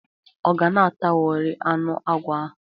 Ọ ga-natawori anụ agwọ ahụ?